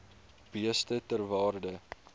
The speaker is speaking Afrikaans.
beeste ter waarde